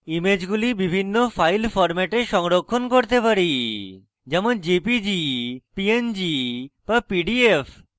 ইমেজগুলি বিভিন্ন file ফরম্যাটে সংরক্ষণ করতে পারি যেমন jpg png বা pdf